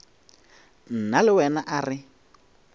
nna le wena a re